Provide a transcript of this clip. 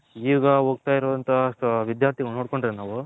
ಈಗ ಒಗ್ತರೈ ಅಂತ ವಿದ್ಯಾರ್ಥಿಗಳು ನೋಡ್ಕೊಂಡ್ರೆ ನಾವು.